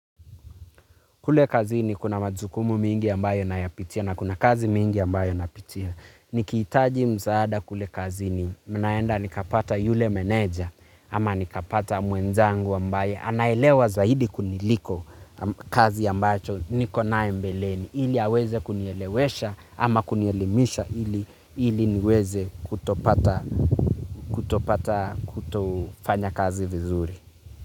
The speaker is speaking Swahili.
Kule kazini kuna majukumu mengi ambayo nayapitia na kuna kazi mingi ambayo napitia. Nikihitaji msaada kule kazi ninaenda nikapata yule meneja ama nikapata mwenzangu ambaye anaelewa zaidi kuniliko kazi ambayo nikonayo mbeleni. Ili aweze kunielewesha ama kunielimisha ili niweze kutopata kutofanya kazi vizuri.